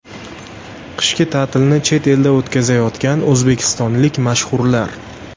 Qishki ta’tilni chet elda o‘tkazayotgan o‘zbekistonlik mashhurlar .